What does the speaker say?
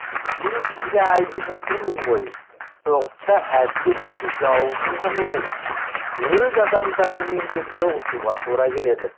мен сізге айтып отырмын ғой соғыста әділет үшін жауыңмен ғана емес өз адамдарыңмен де соғысуға тура келеді